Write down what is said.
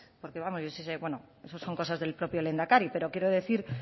porque vamos eso son cosas del propio lehendakari pero quiero decir